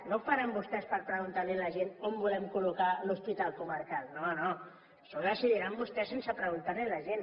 no ho faran vostès per preguntar a la gent on volen col·locar l’hospital comarcal no no això ho decidiran vostès sense preguntar ho a la gent